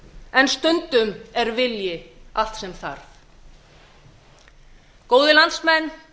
en stundum er vilji allt sem þarf góðir landsmenn